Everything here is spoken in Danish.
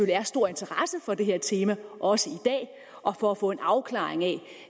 er stor interesse for det her tema også i dag og for at få en afklaring af